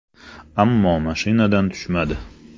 Ammo mashinadan tushmadi.